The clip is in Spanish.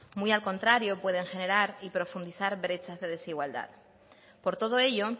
muy al contrario pueden generar y profundizar brechas de desigualdad por todo ello